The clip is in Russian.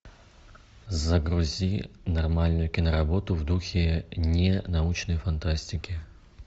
загрузи нормальную киноработу в духе ненаучной фантастики